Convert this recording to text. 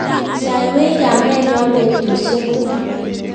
saiwech kametnyo betusiek tugul